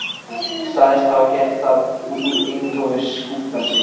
Sagðist hafa gert það út úr eintómu skúffelsi.